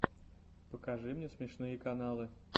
покажи мне смешные каналы